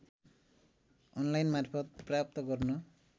अनलाइनमार्फत प्राप्त गर्न